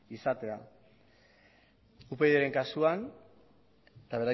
izatea upydren kasuan